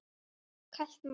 Kalt mat?